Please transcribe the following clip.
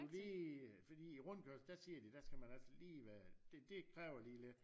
Fordi fordi i rundkørslen der siger de der skal man også lige være det kræver lige lidt